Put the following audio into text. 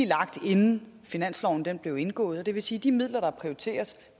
lagt inden finanslovsaftalen blev indgået og det vil sige at de midler der prioriteres